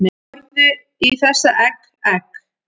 Horfðu í þessa egg, egg